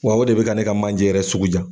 Wa o de be ka ne ka manje yɛrɛ sugu ja